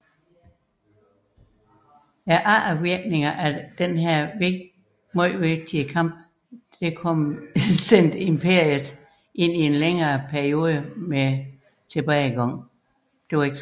Eftervirkningerne af denne vigtige kamp sendte imperiet ind i en længere periode med tilbagegang